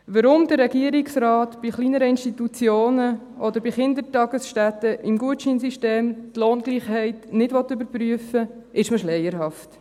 Weshalb der Regierungsrat bei kleineren Institutionen oder bei Kindertagesstätten im Gutscheinsystem die Lohngleichheit nicht überprüfen will, ist mir schleierhaft.